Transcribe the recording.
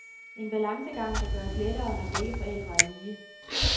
En balancegang, der gøres lettere når begge forældre er lige.